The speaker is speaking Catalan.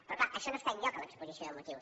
però clar això no està enlloc a l’exposició de motius